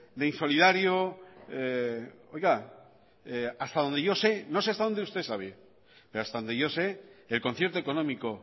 de insolidario oiga hasta donde yo sé no sé hasta donde usted sabe pero hasta donde yo sé el concierto económico